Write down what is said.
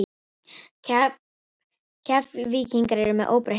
Keflvíkingar eru með óbreytt lið.